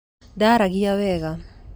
Ndaragia wega